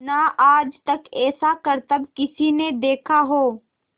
ना आज तक ऐसा करतब किसी ने देखा हो